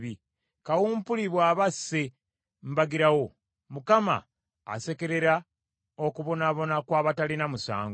Kawumpuli bw’aba asse mbagirawo, Mukama asekerera okubonaabona kw’abatalina musango.